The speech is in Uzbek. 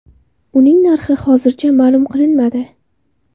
Uning narxi hozircha ma’lum qilinmadi.